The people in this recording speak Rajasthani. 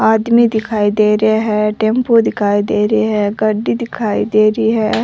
आदमी दिखाई दे रहियो है टेम्पो दिखाई दे रहियो है गाड़ी दिखाई दे रही है।